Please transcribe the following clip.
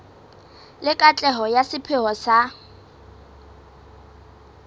le katleho ya sepheo sa